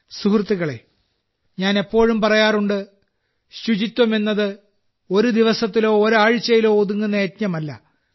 സുഹൃത്തുക്കളേ ഞാൻ എപ്പോഴും പറയാറുണ്ട് ശുചിത്വം എന്നത് ഒരു ദിവസത്തിലോ ഒരാഴ്ചയിലോ ഒതുങ്ങുന്ന യജ്ഞമല്ല